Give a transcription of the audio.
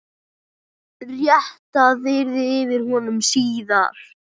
Réttað yrði yfir honum síðar.